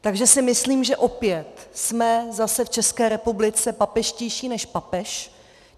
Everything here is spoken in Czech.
Takže si myslím, že opět jsme zase v České republice papežštější než papež.